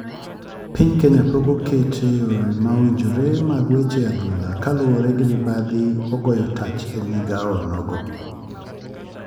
Piny kenya pok okete yore ma owinjore mag weche adhula kaluwore ni mibadhi ogoyo tach e migao onogo.